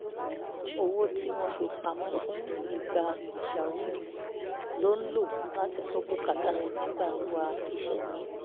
owó tí wọ́n fi pa mọ́ fún ìgbà pàjáwìrì ló ń lò láti gbọ́ bùkátà nígbà wíwa iṣẹ́ míì